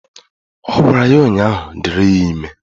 Ọ gwara ya ụnyaahụ " Dịrị ya ime"